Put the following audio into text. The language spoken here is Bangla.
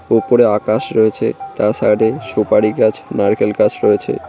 ওপরে আকাশ রয়েছে তার সাইডে সুপারি গাছ নারকেল গাছ রয়েছে।